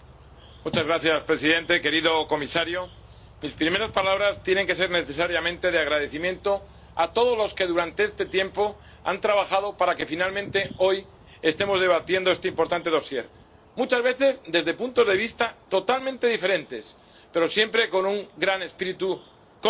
Señor presidente, querido comisario, mis primeras palabras tienen que ser necesariamente de agradecimiento a todos los que durante este tiempo han trabajado para que finalmente hoy estemos debatiendo este importante dosier, muchas veces desde puntos de vista totalmente diferentes, pero siempre con un gran espíritu constructivo.